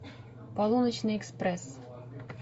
полуночный экспресс